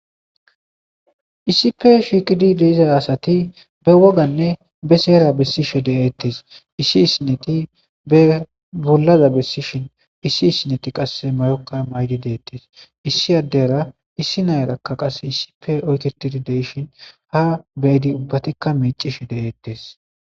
Issipe shiiqidi de'iza asati ba woganne ba seera issi issineti be bollaza besidhin issi issineti qase mayoka mayidi deetes issi adera issi nayiraka qase issipe oyketidi de'ishin ha nayti ubbatika miicishe de'etes.